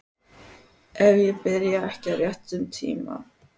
Ef ég byrja ekki á réttum tíma.